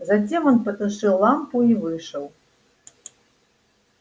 затем он потушил лампу и вышел